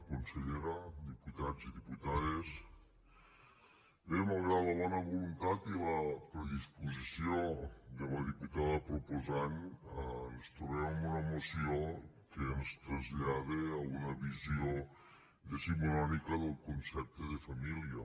consellera diputats i diputades bé malgrat la bona voluntat i la predisposició de la diputada proposant ens trobem amb una moció que ens trasllada a una visió decimonònica del concepte de família